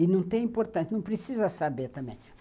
E não tem importância, não precisa saber também.